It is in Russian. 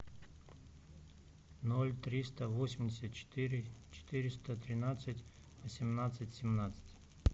ноль триста восемьдесят четыре четыреста тринадцать восемнадцать семнадцать